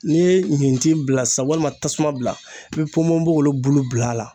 N'i ye ɲintin bila sa walima tasuma bila i bɛ ponponpogolon bulu bila a la